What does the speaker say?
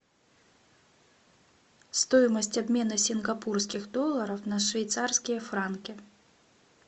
стоимость обмена сингапурских долларов на швейцарские франки